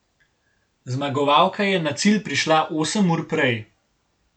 Zmagovalka je na cilj prišla osem ur prej.